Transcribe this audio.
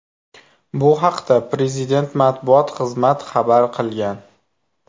Bu haqda Prezident matbuot xizmat xabar qilgan .